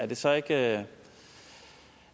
det så ikke